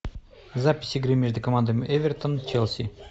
запись игры между командами эвертон челси